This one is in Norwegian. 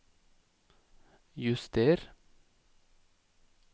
juster